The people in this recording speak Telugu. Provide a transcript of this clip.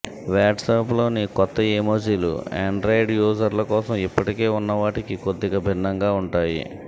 వాట్సాప్లోని కొత్త ఎమోజీలు ఆండ్రాయిడ్ యూసర్ల కోసం ఇప్పటికే ఉన్న వాటికి కొద్దిగా భిన్నంగా ఉంటాయి